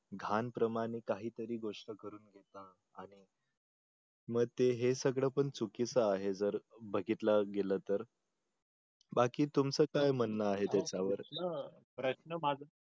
घाण प्रमाणे काही तरी गोष्ट करून मग ते हे सगळं पण चुकीचं आहे जर बघितलं गेलं तर बाकी तुमचं काय म्हणणं आहे त्याच्यावर